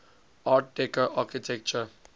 art deco architecture